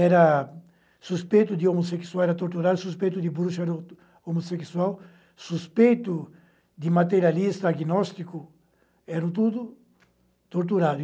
era suspeito de homossexual, era torturado, suspeito de bruxa, homossexual, suspeito de materialista, agnóstico, era tudo torturado.